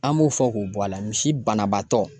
An b'o fɔ k'o bɔ a la misi banabaatɔ